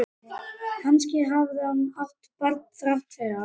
Kannski hafði hún átt barn þrátt fyrir allt.